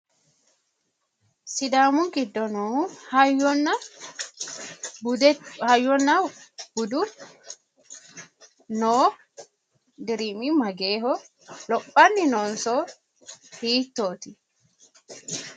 Sidaamu giddo noo hayyonna bude hayyonna budu noo dirimi mageehho? lophanni noonso hiittooti?